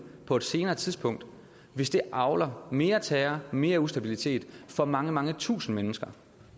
på et senere tidspunkt hvis det avler mere terror mere ustabilitet for mange mange tusinde mennesker